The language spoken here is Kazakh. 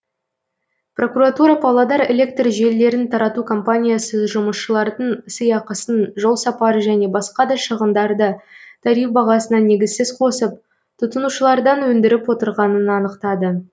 прокуратура павлодар электр желілерін тарату компаниясы жұмысшылардың сыйақысын жолсапар және басқа да шығындарды тариф бағасына негізсіз қосып тұтынушылардан өндіріп отырғанын анықтады